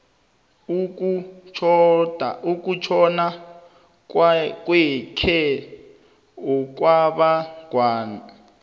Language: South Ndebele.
ukutjhona kwakhe okwabangwa